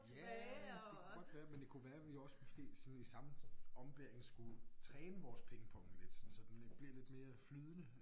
Ja det kunne godt være men det kunne være vi også måske sådan i samme ombæring skulle træne vores pingpong lidt sådan så den blev lidt mere flydende